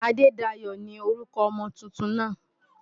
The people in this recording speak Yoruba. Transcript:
Adedayo ni orúkọ ọmọ tuntun náà.